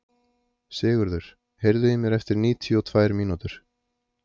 Sigurður, heyrðu í mér eftir níutíu og tvær mínútur.